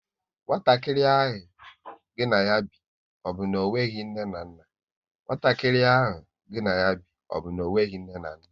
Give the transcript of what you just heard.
Nwatakịrị ahụ gịnị ya bi, ọ bụ na onweghi nne na nna?